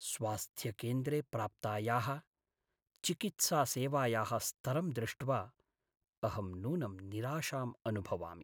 स्वास्थ्यकेन्द्रे प्राप्तायाः चिकित्सासेवायाः स्तरं दृष्ट्वा अहं नूनं निराशाम् अनुभवामि।